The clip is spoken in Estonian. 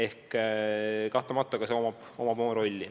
Aga kahtlemata tööjõu puudusel on oma roll.